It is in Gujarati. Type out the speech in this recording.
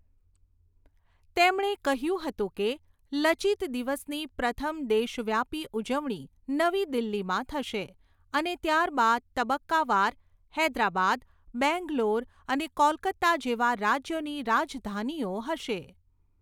તેમણે કહ્યું હતું કે, 'લચિત દિવસ'ની પ્રથમ દેશવ્યાપી ઉજવણી નવી દિલ્હીમાં થશે અને ત્યારબાદ તબક્કાવાર હૈદરાબાદ, બેંગલોર અને કોલકાતા જેવા રાજ્યોની રાજધાનીઓ હશે.